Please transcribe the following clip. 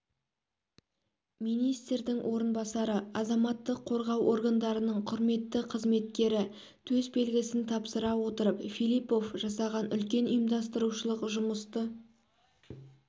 министрдің орынбасары азаматтық қорғау органдарының құрметті қызметкері төс белгісін тапсыра отырып филиппов жасаған үлкен ұйымдастырушылық жұмысты